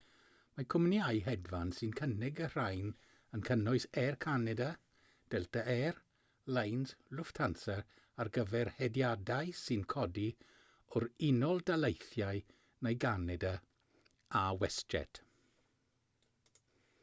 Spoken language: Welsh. mae cwmnïau hedfan sy'n cynnig y rhain yn cynnwys air canada delta air lines lufthansa ar gyfer hediadau sy'n codi o'r unol daleithiau neu ganada a westjet